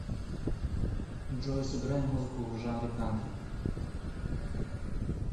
джой сыграй музыку в жанре кантри